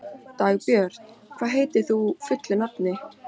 Dagbjört, hvað heitir þú fullu nafni?